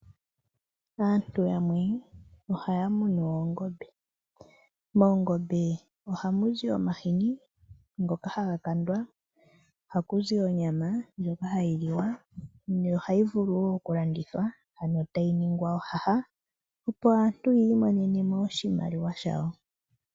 Aantu yamwe ohaya munu oongombe. Moongombe ohamu zi omahini ngoka haga kandwa. Ohaku zi onyama ndjoka hayi liwa yo ohayi vulu wo okulandithwa, ano tayi ningwa ohaha, opo aantu yi imonene mo oshimaliwa shawo.